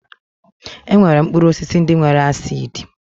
E nwere mkpụrụ osisi ndị nwere acidi